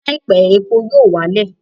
Ní àìpé, epo yóò wá lẹ̀